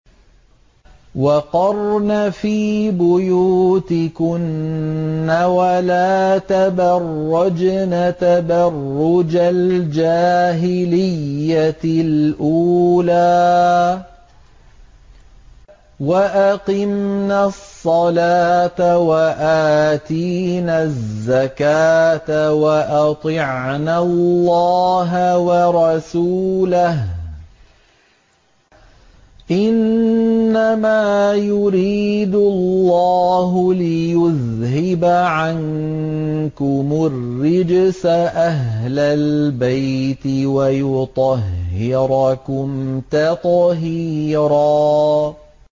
وَقَرْنَ فِي بُيُوتِكُنَّ وَلَا تَبَرَّجْنَ تَبَرُّجَ الْجَاهِلِيَّةِ الْأُولَىٰ ۖ وَأَقِمْنَ الصَّلَاةَ وَآتِينَ الزَّكَاةَ وَأَطِعْنَ اللَّهَ وَرَسُولَهُ ۚ إِنَّمَا يُرِيدُ اللَّهُ لِيُذْهِبَ عَنكُمُ الرِّجْسَ أَهْلَ الْبَيْتِ وَيُطَهِّرَكُمْ تَطْهِيرًا